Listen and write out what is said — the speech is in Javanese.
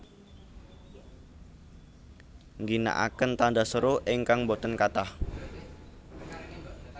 Ngginakaken tanda seru ingkang boten kathah